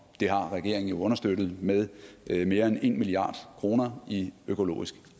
har regeringen jo understøttet med mere end en milliard kroner i økologisk